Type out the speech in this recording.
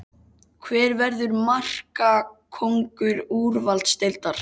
Hver verður markakóngur úrvalsdeildar?